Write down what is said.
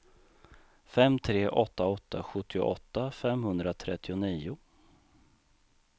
fem tre åtta åtta sjuttioåtta femhundratrettionio